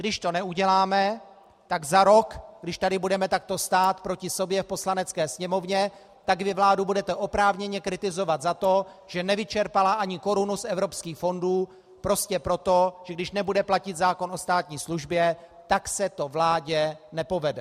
Když to neuděláme, tak za rok, když tady budeme takto stát proti sobě v Poslanecké sněmovně, tak vy vládu budete oprávněně kritizovat za to, že nevyčerpala ani korunu z evropských fondů prostě proto, že když nebude platit zákon o státní službě, tak se to vládě nepovede.